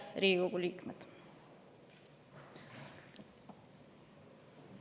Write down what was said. Head Riigikogu liikmed!